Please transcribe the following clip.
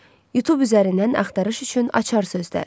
Youtube üzərindən axtarış üçün açar sözlər: